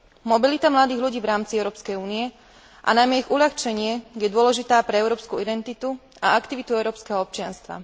Mobilita mladých ľudí v rámci Európskej únie, a najmä jej uľahčenie, je dôležitá pre európsku identitu a aktivitu európskeho občianstva.